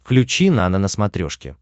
включи нано на смотрешке